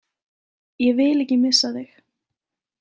Ég vil ekki missa þig